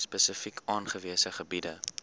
spesifiek aangewese gebiede